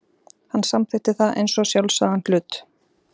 Hann samþykkti það eins og sjálfsagðan hlut.